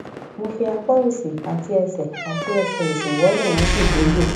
mo fi apá òsì àti ẹsẹ àti ẹsẹ òsì wọlẹ wọn sì dégbò